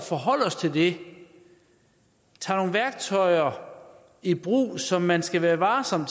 forholde os til det tager nogle værktøjer i brug som man skal være varsom